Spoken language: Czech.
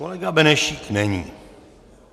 Kolega Benešík není.